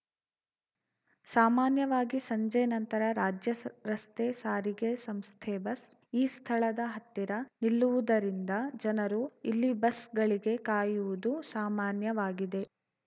ಸಾಮಾನ್ಯವಾಗಿ ಸಂಜೆ ನಂತರ ರಾಜ್ಯ ಸ ರಸ್ತೆ ಸಾರಿಗೆ ಸಂಸ್ಥೆ ಬಸ್‌ ಈ ಸ್ಥಳದ ಹತ್ತಿರ ನಿಲ್ಲುವುದರಿಂದ ಜನರು ಇಲ್ಲಿ ಬಸ್‌ಗಳಿಗೆ ಕಾಯುವುದು ಸಾಮಾನ್ಯವಾಗಿದೆ